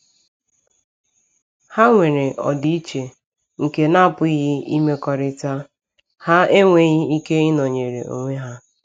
Ha nwere ọdịiche nke na-apụghị imekọrịta; ha enweghị ike ịnọnyere onwe ha.